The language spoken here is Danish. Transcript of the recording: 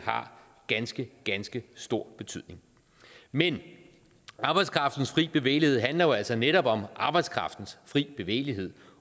har ganske ganske stor betydning men arbejdskraftens frie bevægelighed handler jo altså netop om arbejdskraftens frie bevægelighed